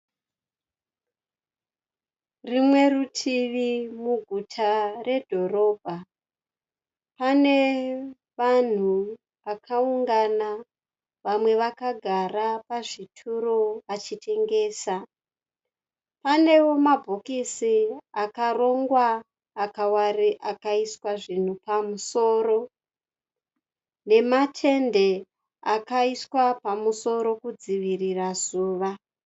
Rumwe rutivi muguta redhorobha. Pane vanhu vakaungana vamwe vakagara pazvituro vachitengesa. Panewo mabhokisi akarongwa akaiswa zvinhu pamusorone nematende akaiswa pamusoro kudzivirira zuva.